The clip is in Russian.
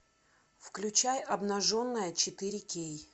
включай обнаженная четыре кей